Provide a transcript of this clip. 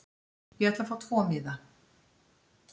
Ég ætla að fá tvo miða.